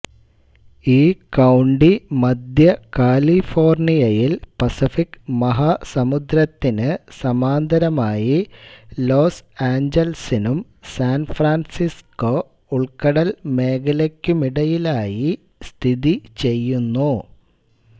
ഈ കൌണ്ടി മദ്ധ്യ കാലിഫോർണിയയിൽ പസഫിക് മഹാസമുദ്രത്തിനു സമാന്തരമായി ലോസ് ആഞ്ചലസിനും സാൻ ഫ്രാൻസിസ്കോ ഉൾക്കടൽ മേഖലയ്ക്കുമിടയിലായി സ്ഥിതിചെയ്യുന്നു